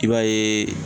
I b'a yeee